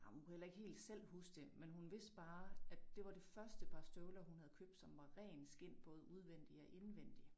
Ej men hun kunne heller ikke helt selv huske det men hun vidste bare at det var det første par støvler hun havde købt som var ren skind både udvendig og indvendig